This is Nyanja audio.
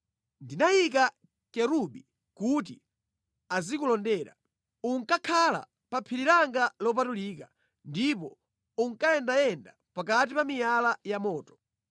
Ndinayika kerubi kuti azikulondera. Unkakhala pa phiri langa lopatulika, ndipo unkayendayenda pakati pa miyala ya moto.